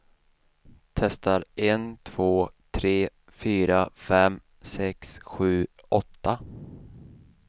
Testar en två tre fyra fem sex sju åtta.